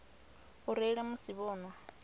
u reila musi vho nwa